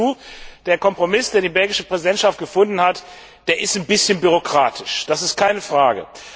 Ich gebe zu, der Kompromiss, den die belgische Präsidentschaft gefunden hat, ist ein bisschen bürokratisch. Das ist keine Frage.